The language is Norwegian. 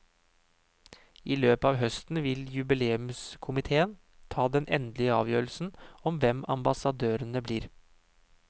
I løpet av høsten vil jubileumskomitéen ta den endelige avgjørelsen om hvem ambassadørene blir.